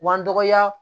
B'an dɔgɔya